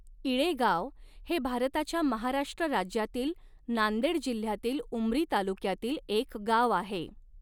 इळेगाव हे भारताच्या महाराष्ट्र राज्यातील नांदेड जिल्ह्यातील उमरी तालुक्यातील एक गाव आहे.